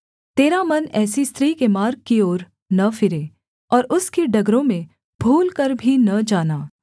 तेरा मन ऐसी स्त्री के मार्ग की ओर न फिरे और उसकी डगरों में भूलकर भी न जाना